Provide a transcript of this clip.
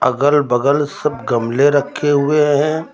अगल बगल सब गमले रखे हुए हैं।